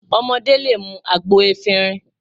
Ọmọdé lè mú àgbo efinrin